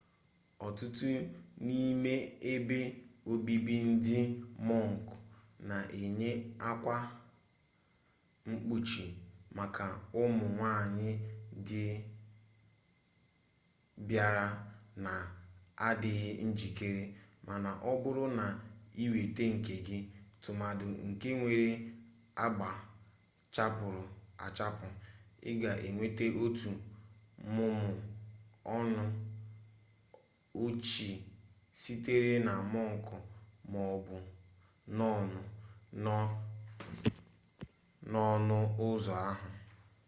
ọtụtụ n'ime ebe obibi ndị mọnk na-enye akwa mkpuchi maka ụmụ nwanyị ndị bịara na-adịghị njikere mana ọ bụrụ na ị weta nke gị tụmadị nke nwere agba chapụrụ achapụ ị ga enweta otu mmụmụ ọnụ ọchị sitere na mọnk ma ọ bụ nọn nọ n'ọnụ ụzọ ahụ